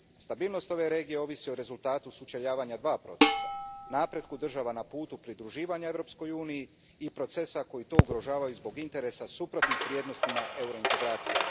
Stabilnost ove regije ovisi o rezultatu sučeljavanja dva procesa napretku država na putu pridruživanja Europskoj uniji i procesa koji to ugrožavaju zbog interesa suprotnih vrijednostima eurointegracija.